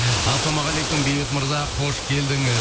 ассалаумағалейкум бейбіт мырза қош келдіңіз